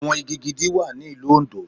Àwọn igi gidi wà ní ìlú Òndó.